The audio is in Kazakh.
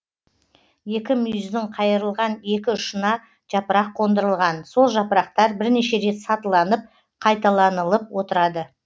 екі мүйіздің қайырылған екі ұшына жапырақ қондырылған сол жапырақтар бірнеше рет сатыланып қайталанылып отырады